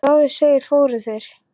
Eins og áður segir, fóru þeir